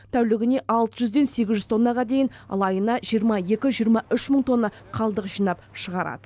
тәулігіне алты жүзден сегіз жүз тоннаға дейін ал айына жиырма екі жиырма үш мың тонна қалдық жинап шығарады